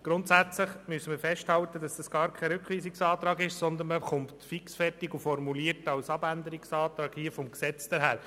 Grundsätzlich müssen wir festhalten, dass dies gar kein Rückweisungsantrag ist, sondern fixfertig formuliert als Abänderungsantrag des Gesetzes daherkommt.